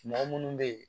Mɔgɔ munnu be yen